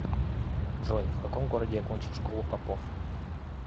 джой в каком городе окончил школу попов